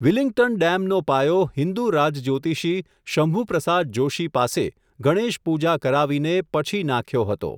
Willingdon ડેમનો પાયો હિંદુ રાજ જ્યોતિષી શંભુપ્રસાદ જોશી પાસે, ગણેશપૂજા કરાવીને પછી નાખ્યો હતો.